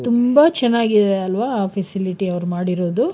ತುಂಬಾ ಚನ್ನಾಗಿದೆ ಅಲ್ವಾ ಆ facility ಅವ್ರು ಮಾಡಿರೋದು?